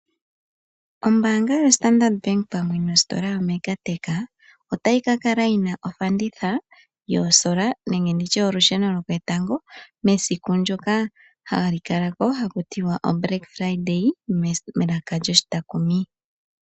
Ombaanga yoStandard Bank pamwe nositola yoMega Tech otayi kakala yina ofanditha yoosola nenge olusheno loketango mesiku ndyoka hali kala ko ano Black Friday.